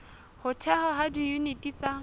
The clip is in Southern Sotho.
ho thehwa ha diyuniti tsa